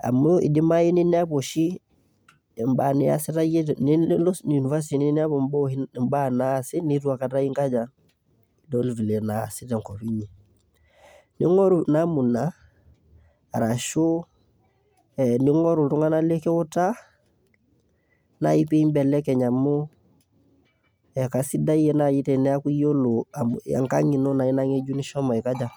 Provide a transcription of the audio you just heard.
Amuu eidimau nilo university ninepu imbaa naasi neitua aikata iyie ias tenkop iinyi. Araashu ning'oru iltung'anak likiutaa naaji peyie imbelekeny amuu kaisidai naaji teniaku iyiolo amuu enkang' iino naa ina nishomo aikaja?